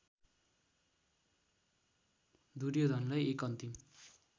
दुर्योधनलाई एक अन्तिम